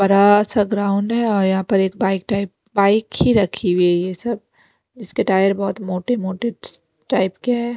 बड़ा सा ग्राउंड है और यहां पर एक बाइक टाइप बाइक ही रखी हुई है ये सब इसके टायर बहुत मोटे-मोटे टाइप के हैं।